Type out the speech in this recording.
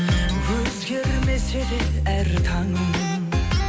өзгермесе де әр таңым